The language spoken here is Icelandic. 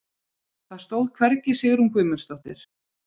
Það stóð hvergi Sigrún Guðmundsdóttir.